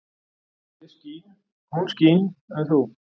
Ég skín, hún skín en þú?